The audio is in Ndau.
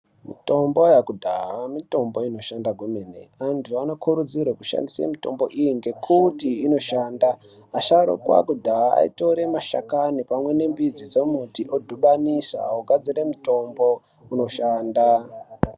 Mitombo yekudhaya mitombo inoshanda kwemene antu anokurudzirwe kushnadise mitombo iyi ngekuti inoshanda, asharukwa kudhaya aitora mashakanai pamwe nemidzi dzembiti yemitombo odhibanisa ogadzire mutombo unoshanda.